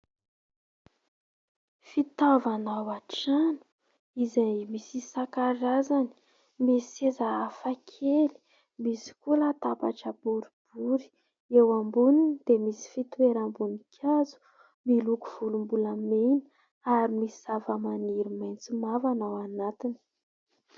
Fitaovana ao an-trano izay misy isan-karazany. Misy seza hafakely. Misy koa latabatra boribory. Eo amboniny dia misy fitoeram-boninkazo miloko volombolamena ary misy zavamaniry maitso mavana ao anatiny.